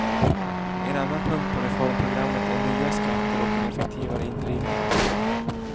En annan punkt på reformprogrammet är nya skatter och en effektivare indrivning.